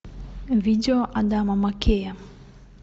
видео адама маккея